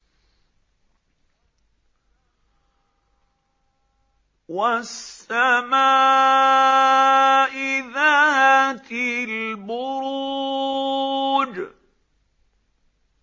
وَالسَّمَاءِ ذَاتِ الْبُرُوجِ